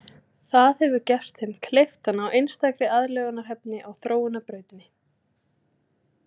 Það hefur gert þeim kleift að ná einstakri aðlögunarhæfni á þróunarbrautinni.